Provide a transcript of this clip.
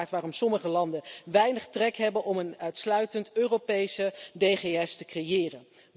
Dit verklaart waarom sommige landen weinig trek hebben om een uitsluitend Europees DGS te creëren.